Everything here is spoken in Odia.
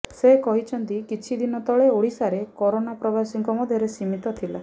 ସେ କହିଛନ୍ତି କିଛି ଦିନ ତଳେ ଓଡ଼ିଶାରେ କରୋନା ପ୍ରବାସୀଙ୍କ ମଧ୍ୟରେ ସୀମିତ ଥିଲା